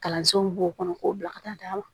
Kalansenw b'o kɔnɔ k'o bila ka taa d'a ma